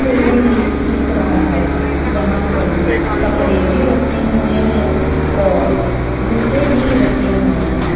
Showroom लिख दिख रहा है जहां पर कपड़े भी रखे हुए हैं और जूते भी रखे हुए हैं।